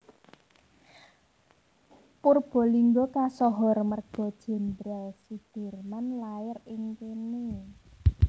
Purbalingga kasohor merga Jenderal Soedirman lair ing kene